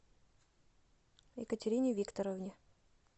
екатерине викторовне